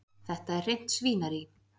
Þetta er hreint svínarí.